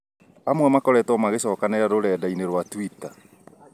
Amwe makoretwo makĩcokanĩrĩa rurenda ĩnĩ rwa twitter